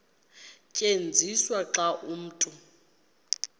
tyenziswa xa umntu